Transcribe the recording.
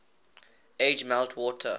age melt water